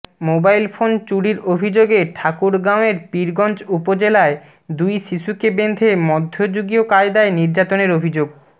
mobile phone চুরির অভিযোগে ঠাকুরগাঁওয়ের পীরগঞ্জ উপজেলায় দুই শিশুকে বেঁধে মধ্যযুগীয় কায়দায় নির্যাতনের অভিযোগ